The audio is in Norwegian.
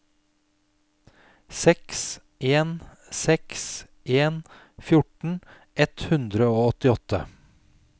seks en seks en fjorten ett hundre og åttiåtte